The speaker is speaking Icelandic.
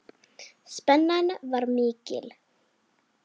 Spennan var mikil.